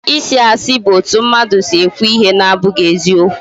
Isị asị bu otu mmadụ si ekwu ihe na-abụghị eziokwu